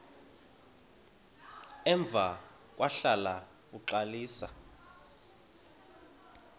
emva kwahlala uxalisa